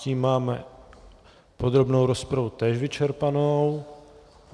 Tím máme podrobnou rozpravu též vyčerpanou.